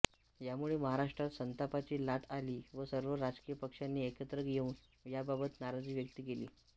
यामुळे महाराष्ट्रात संतापाची लाट आली व सर्व राजकीय पक्षांनी एकत्र येऊन याबाबत नाराजी व्यक्त केली